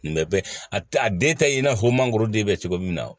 Nin bɛ a den ta i n'a fɔ mangoroden bɛ cogo min na